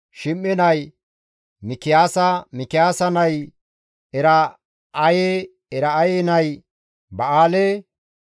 Shim7e nay Mikiyaasa, Mikiyaasa nay Era7aye, Era7aye nay Ba7aale,